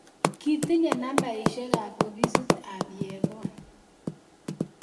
Kitinye nambaisyek ab ofisit ab Yegon